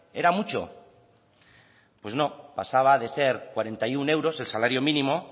era mucho pues no pasaba de ser cuarenta y uno euros el salario mínimo